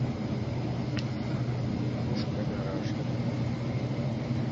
пушка гараж